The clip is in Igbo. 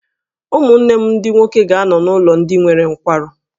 Ụmụnne m ndị nwoke ga-anọ n’ụlọ ndị nwere nkwarụ.